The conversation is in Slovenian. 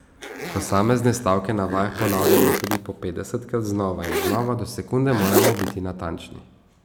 Posamezne stavke na vajah ponavljamo tudi po petdesetkrat, znova in znova, do sekunde moramo biti natančni.